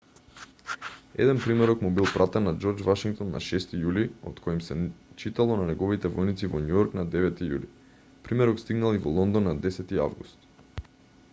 еден примерок му бил пратен на џорџ вашингтон на 6-ти јули од кој им се читало на неговите војници во њујорк на 9-ти јули примерок стигнал и во лондон на 10-ти август